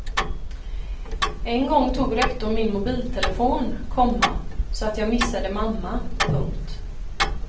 En gång tog rektorn min mobiltelefon, komma så jag missade mamma. punkt